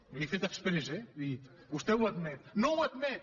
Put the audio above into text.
ho he fet exprés eh és a dir vostè ho admet no ho admet